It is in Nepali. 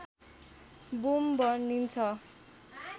बुम भनिन्छ